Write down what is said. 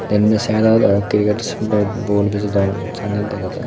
dendi saedot or kiriket be bol bejodon sannen dega jar.